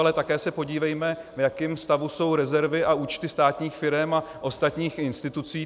Ale také se podívejme, v jakém stavu jsou rezervy a účty státních firem a ostatních institucí.